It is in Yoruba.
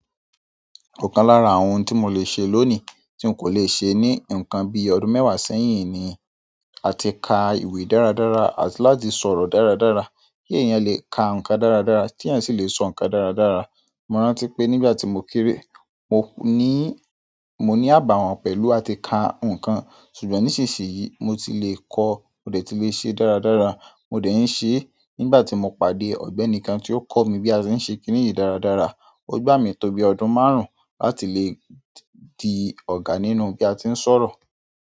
Òkan lára àwọn ohun tí mo lè ṣe lónìí tí n kò lè ṣe ní nǹkan bí ọdún mẹ́wàá sẹ́yìn ni àti ka ìwé dáradára àti láti sọ̀rọ̀ dáradára. Kí eeyan lè ka nǹkan dáradára, ki eeyan sì le sọ nǹkan dáradára. Mo rántí pé nígbà tí mo kéré, mo ní, mo ní àbàwọ́n pẹ̀lú àti ka nǹkan, ṣùgbọ́n nísinsìnyí mo ti le kọ, mo dẹ̀ ti lè ṣe é dáradára, mo dẹ̀ ń ṣe é. Nígbà tí mo pàdé ọ̀gbẹ́ni kan tí ó kọ̀ mí bí a ṣe ń ṣe kìní yìí dáradára, ó gbà mí tó bí i ọdún márùn-ún láti lè di ọ̀gá nínú bí a ti ń sọ̀rọ̀.